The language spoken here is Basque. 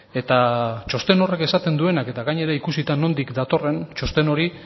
eta txosten horrek esaten duenak eta gainera ikusita nondik datorren txosten hori